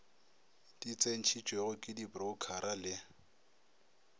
di tsentšhitšwego ke diporoukhara le